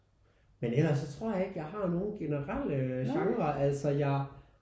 Men ellers så tror jeg ikke jeg har nogen generelle genre altså jeg